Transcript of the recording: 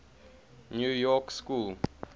new york school